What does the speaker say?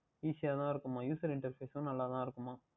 Easy தான் இருக்கின்றதாம் User Interface எல்லாம் நன்றாக தான் இருக்கின்றதாம்